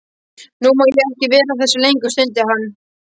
Nú má ég ekki vera að þessu lengur, stundi hann.